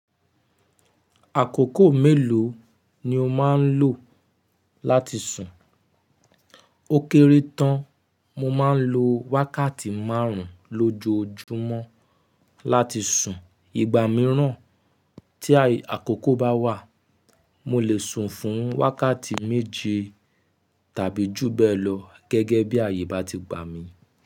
Àkókò mélòó ni o má ń lò láti sùn? Ó kéré tán, mo má ń lo wákàtí márùn-ún lójóòjúmọ́ láti sùn. Ìgbà mìíràn tí àkókò bá wà, mo lè sùn fún wákàtí méje tàbí jù bẹ́ẹ̀ lọ gẹ́gẹ́ bí ayé bá ti gbà mí.